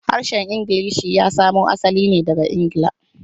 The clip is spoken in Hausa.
Harshen Ingilishi ya samo asali ne daga Ingila.